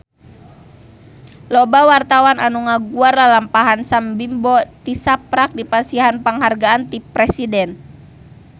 Loba wartawan anu ngaguar lalampahan Sam Bimbo tisaprak dipasihan panghargaan ti Presiden